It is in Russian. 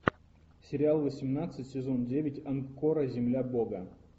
сериал восемнадцать сезон девять анкора земля бога